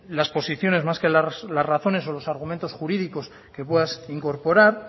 las posiciones más que las razones o los argumentos jurídicos que puedas incorporar